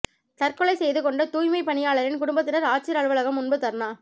தற்கொலை செய்து கொண்ட தூய்மைப் பணியாளரின் குடும்பத்தினா் ஆட்சியா் அலுவலகம் முன்பு தா்னா